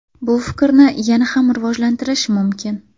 Bu fikrni yana ham rivojlantirish mumkin.